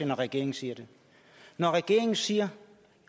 når regeringen siger det når regeringen siger